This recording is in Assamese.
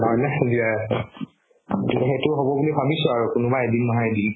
হয় নে আছে সেইটো হ'ব বুলি ভাবিছো আৰু কোনোবা এদিন নহয় এদিন